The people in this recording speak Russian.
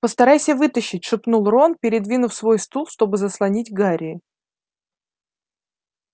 постарайся вытащить шепнул рон передвинув свой стул чтобы заслонить гарри